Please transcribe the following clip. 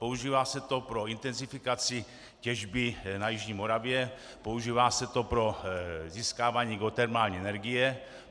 Používá se to pro intenzifikaci těžby na jižní Moravě, používá se to pro získávání geotermální energie.